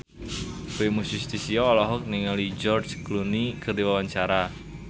Primus Yustisio olohok ningali George Clooney keur diwawancara